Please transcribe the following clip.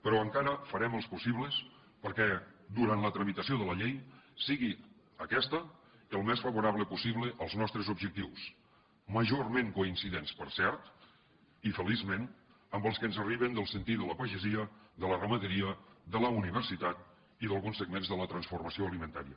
però encara farem els possibles perquè durant la tramitació de la llei sigui aquesta el més favorable possible als nostres objectius majorment coincidents per cert i feliçment amb els que ens arriben del sentir de la pagesia de la ramaderia de la universitat i d’alguns segments de la transformació alimentària